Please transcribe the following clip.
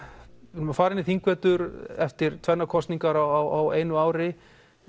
við erum að fara inn í þingvetur eftir tvennar kosningar á einu ári